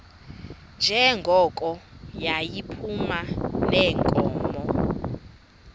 njengoko yayiphuma neenkomo